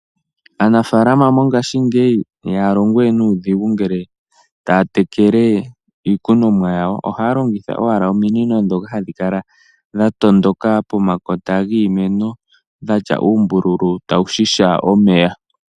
Aanafalama yo ngaashi ngeyi iha yalongo we nuudhigu ngele ta ya tekele iikunomwa ya wo. Oha longitha owala ominino ndhoka ha dhikala dhatondoka pomakota giimeno dhatya uumbululu tawu shasha omeya.